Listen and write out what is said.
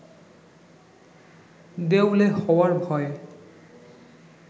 দেউলে হওয়ার ভয়ে